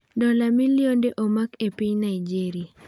Dola milionde omak e piny Naijeria